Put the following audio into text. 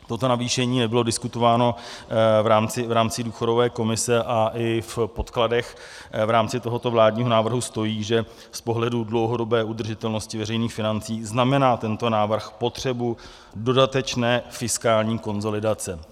Toto navýšení nebylo diskutováno v rámci důchodové komise a i v podkladech v rámci tohoto vládního návrhu stojí, že z pohledu dlouhodobé udržitelnosti veřejných financí znamená tento návrh potřebu dodatečné fiskální konsolidace.